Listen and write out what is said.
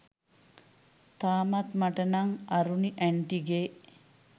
තාමත් මට නං අරුණි ඇන්ටිගේ